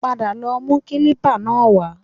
Padà lọ mú kílípà náà wá